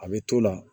A bɛ t'o la